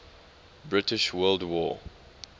british world war